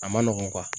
A ma nɔgɔn